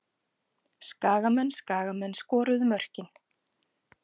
Skagamenn Skagamenn skoruðu mörkin.